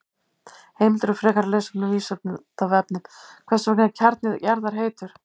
Heimildir og frekara lesefni á Vísindavefnum: Hvers vegna er kjarni jarðar heitur?